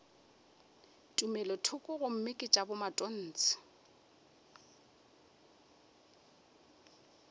tumelothoko gomme ke tša bomatontshe